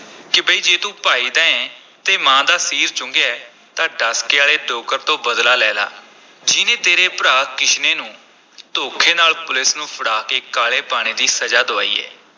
ਕਿ ਬਈ ਜੇ ਤੂੰ ਭਾਈ ਦਾ ਐਂ ਤੇ ਮਾਂ ਦਾ ਸੀਰ ਚੁੰਘਿਆ ਹੈ ਤਾਂ ਡਸਕੇ ਆਲੇ ਡੋਗਰ ਤੋਂ ਬਦਲਾ ਲੈ ਲਾ, ਜਿਹਨੇ ਤੇਰੇ ਭਰਾ ਕਿਸ਼ਨੇ ਨੂੰ ਧੋਖੇ ਨਾਲ ਪੁਲੀਸ ਨੂੰ ਫੜਾ ਕੇ ਕਾਲੇ ਪਾਣੀ ਦੀ ਸਜ਼ਾ ਦੁਆਈ ਹੈ।